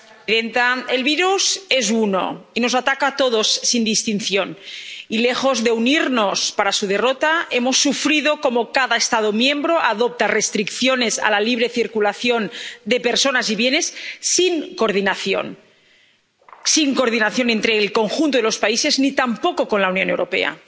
Señora presidenta, el virus es uno y nos ataca a todos sin distinción. Y lejos de unirnos para su derrota hemos sufrido cómo cada Estado miembro adopta restricciones a la libre circulación de personas y bienes sin coordinación entre el conjunto de los países, ni tampoco con la Unión Europea.